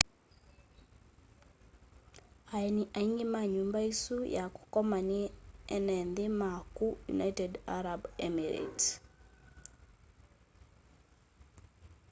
aeni aingi ma nyumba isu ya kukoma ni ene nthi ma ku united arab emirates